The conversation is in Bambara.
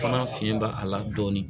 Fana fiɲɛ b'a a la dɔɔni